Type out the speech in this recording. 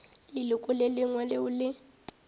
leloko le lengwe leo le